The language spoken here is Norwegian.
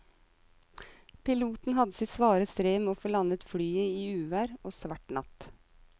Piloten hadde sitt svare strev med å få landet flyet i uvær og svart natt.